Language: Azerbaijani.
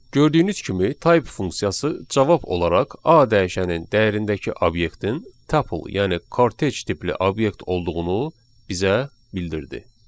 Gördüyünüz kimi type funksiyası cavab olaraq A dəyişənin dəyərindəki obyektin tuple, yəni kortej tipli obyekt olduğunu bizə bildirdi.